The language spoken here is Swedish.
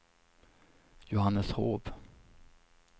Johanneshov